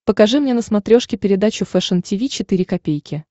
покажи мне на смотрешке передачу фэшн ти ви четыре ка